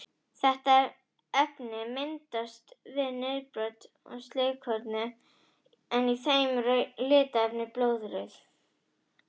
Þetta efni myndast við niðurbrot á slitnum rauðkornum en í þeim er rauða litarefnið blóðrauði.